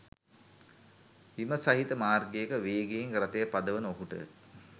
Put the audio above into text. හිම සහිත මාර්ගයක වේගයෙන් රථය පදවන ඔහුට